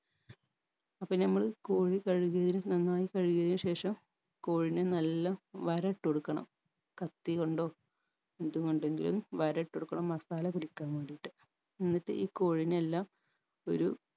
അപ്പൊ നമ്മൾ കോഴി കഴുകിയതിന് നന്നായ് കഴുകിയതിന് ശേഷം കോഴിനെ നല്ല വര ഇട്ടൊടുക്കണം കത്തി കൊണ്ടോ എന്ത് കൊണ്ടെങ്കിലും വര ഇട്ടൊടുക്കണം മസാല പിടിക്കാൻ വേണ്ടീട്ട് എന്നിട്ട് ഈ കോഴീനെയെല്ലാം